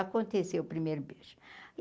Aconteceu o primeiro beijo.